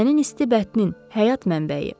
Sənin isti bətnin həyat mənbəyi.